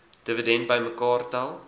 dividende bymekaar tel